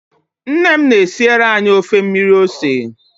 Nne m na-esiere anyị ofe mmiri ose